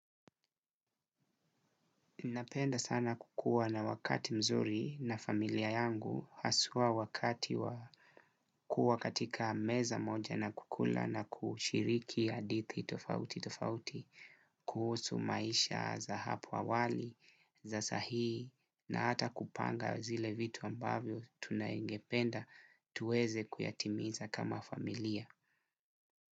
Napenda sana kukuwa na wakati mzuri na familia yangu haswa wakati wa kuwa katika meza moja na kukula na kushiriki hadithi tofauti tofauti, kuhusu maisha za hapo awali, za saa hii na hata kupanga zile vitu ambavyo tungependa tuweze kuyatimiza kama familia.